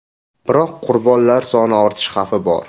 Biroq qurbonlar soni ortishi xavfi bor.